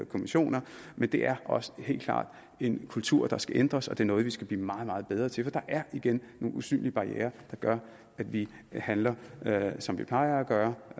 kommissioner men det er også helt klart en kultur der skal ændres og det er noget vi skal blive meget meget bedre til for der er igen nogle usynlige barrierer der gør at vi handler som vi plejer at gøre